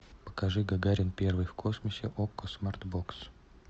покажи гагарин первый в космосе окко смарт бокс